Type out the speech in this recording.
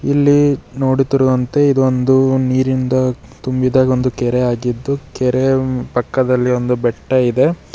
ಇಲ್ಲಿ ನೋಡುತ್ತಿರುವಂತೆ ಇದು ಒಂದು ನೀರಿಂದ ತುಂಬಿದ ಒಂದು ಕೆರೆಯಾಗಿದ್ದು ಕೆರೆಯ ಪಕ್ಕದಲ್ಲಿ ಒಂದು ಬೆಟ್ಟ ಇದೆ.